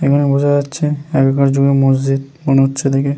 এগুলো বোঝা যাচ্ছে আগেকার যুগের মসজিদ মনে হচ্ছে দেখে।